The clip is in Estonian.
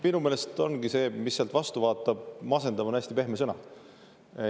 Minu meelest ongi see, mis sealt vastu vaatab, masendav – "masendav" on pehme sõna.